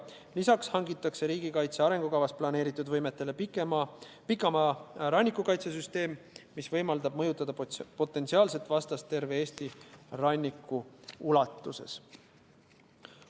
Lisaks riigikaitse arengukavas planeeritud võimetele hangitakse pikamaa rannikukaitsesüsteem, mis võimaldab mõjutada potentsiaalset vastast terve Eesti ranniku ulatuses.